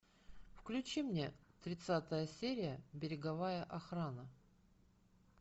включи мне тридцатая серия береговая охрана